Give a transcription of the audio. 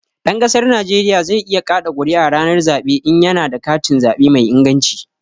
Ɗan ƙasar Najeriya zai iya ƙaɗa ƙuri'a ranar zaɓe in ya na da katin zaɓe mai inganci